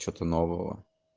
что нового